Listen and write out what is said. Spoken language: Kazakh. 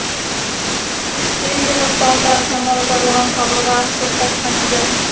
терезе жақтауындағы саңылау жарылған қабырға сыз тартқан еден